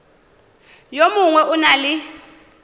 yo mongwe o na le